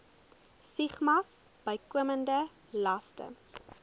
stigmas bykomende laste